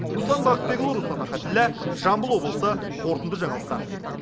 руслан бақытбекұлы руслан ахатіллә жамбыл облысы қорытынды жаңалықтар